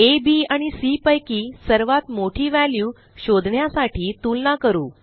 आ B आणि C पैकी सर्वात मोठी व्हॅल्यू शोधण्यासाठी तुलना करू